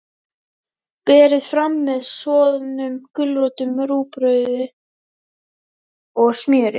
Berið fram með soðnum gulrótum, rúgbrauði og smjöri.